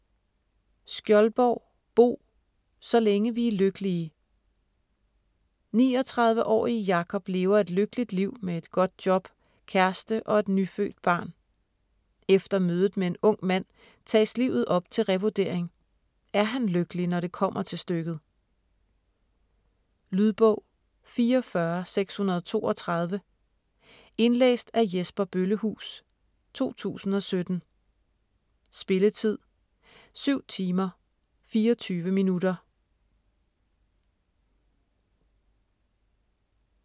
Skjoldborg, Bo: Så længe vi er lykkelige 39-årige Jakob lever et lykkeligt liv med et godt job, kæreste og et nyfødt barn. Efter mødet med en ung mand tages livet op til revurdering; er han lykkelig når det kommer til stykket? Lydbog 44632 Indlæst af Jesper Bøllehuus, 2017. Spilletid: 7 timer, 24 minutter.